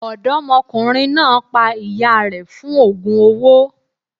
Ọ̀dọ́mọkùnrin náà pa ìyá rẹ̀ fún ògùn owó.